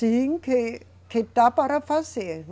Sim, que, que dá para fazer.